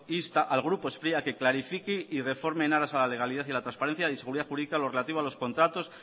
insta al grupo spri a que clarifique y reforme en aras a la legalidad y a la transparencia de seguridad jurídica lo relativo a los contratos